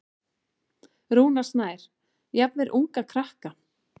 Rúnar Snær: Jafnvel unga krakka?